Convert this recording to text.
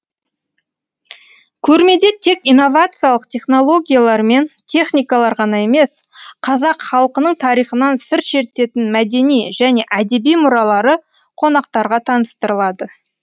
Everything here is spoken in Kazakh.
көрмеде тек инновациялық технологиялар мен техникалар ғана емес қазақ халқының тарихынан сыр шертетін мәдени және әдеби мұралары қонақтарға таныстырылады